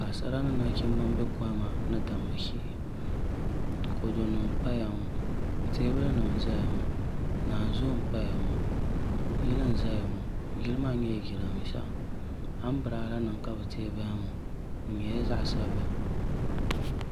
Paɣasara ni nachimbi n bɛ kohamma ni damma shee kodu nim n paya ŋo teebuli nim n ʒɛya ŋo naanzuu n paya ŋo yili n ʒɛya ŋo yili maa nyɛla jiranbiisa anbirɛla nim ka bi tiɛ bahi ŋo di nyɛla zaɣ sabila